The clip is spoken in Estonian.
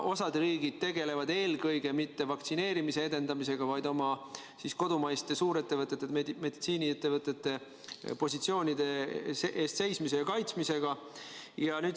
Osa riike ei tegele eelkõige vaktsineerimise edendamisega, vaid oma kodumaiste suurettevõtete, meditsiiniettevõtete positsioonide kaitsmisega.